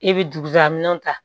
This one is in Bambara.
E bɛ dugujaminɛn ta